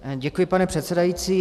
Děkuji, pane předsedající.